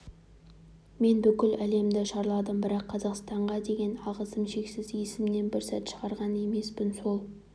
мен бүкіл әлемді шарладым бірақ қазақстанға деген алғысым шексіз есімнен бір сәт шығарған емеспін сол